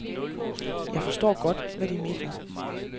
Jeg forstår godt, hvad de mener.